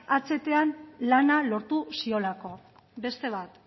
ahtan lana lortu ziolako beste bat